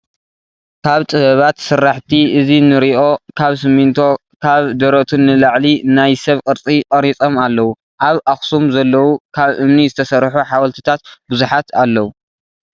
ካብ ጥበባት ስራሕቲ እዚ እንሪኦ ካብ ሲሚቶ ካብ ደረቱ ንላዕሊናይ ሰብ ቅርፂ ቀሪፆም ኣለው። ኣብ ኣክሱም ዘለው ካብ እምኒ ዝተሰርሑ ሓውልቲታት ብዙሓት ኣለው።